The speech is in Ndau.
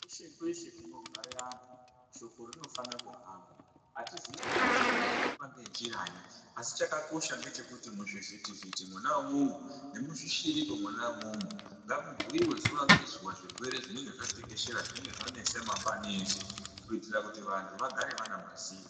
Kweshe kweshe kunogara antu shoko rinofana kuhamba atizivi kuti shoko ringahamba ngenjiranyi asi chakakosha ndechekuti muzvizive kuti muchivhiti vhiti Mona imomo nemuzvishiriki Mona imomo ngamubhuiwe zuwa ngezuwa kuti zvirwere zvinenge zvatekeshera zvanesa mangwani eshe kuti vantu vagare vane maziro.